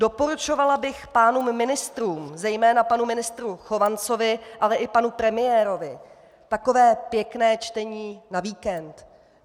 Doporučovala bych pánům ministrům, zejména panu ministru Chovancovi, ale i panu premiérovi, takové pěkné čtení na víkend.